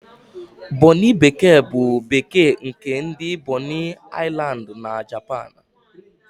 Bonịn bekee bụ bekee nke ndị Bonin Aịlandị na Japan.